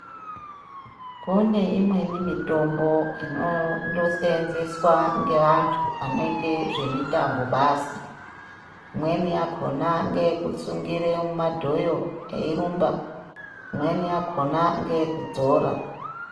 Kune imweni mitombo inondosenzeswa ngeantu anoite zvemitambo basi. Imweni yakona ngeyekusungire mumadhoyo eirumba, imweni yakona ngeye kudzora.